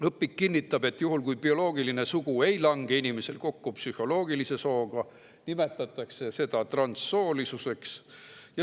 Õpik kinnitab, et juhul kui bioloogiline sugu ei lange inimesel kokku psühholoogilise sooga, nimetatakse seda transsoolisuseks.